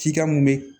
Cikan mun bɛ